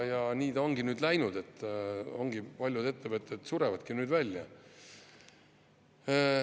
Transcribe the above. Ja nii ta ongi läinud, et paljud ettevõtted surevadki välja.